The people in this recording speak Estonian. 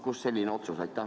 Kust selline otsus?